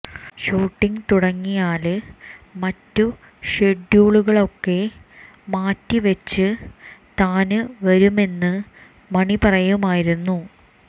shooting തുടങ്ങിയാല് മറ്റ് ഷെഡ്യൂളുകളൊക്കെ മാറ്റി വച്ച് താന് വരുമെന്ന് മണി പറയുമായിരുന്നു